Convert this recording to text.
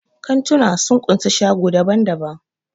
Kantuna sun kunsa shago daban-daban.